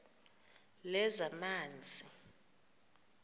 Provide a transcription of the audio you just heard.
lezamanzi